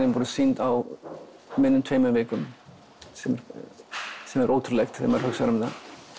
voru sýnd á minna en tveimur vikum sem sem er ótrúlegt þegar maður hugsar um það